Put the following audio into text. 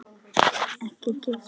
Ekki gefast upp!